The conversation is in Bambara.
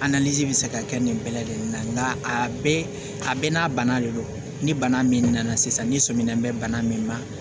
bɛ se ka kɛ nin bɛɛ lajɛlen na nka a bɛɛ a bɛɛ n'a bana de don ni bana min nana sisan ni sɔmina bɛ bana min na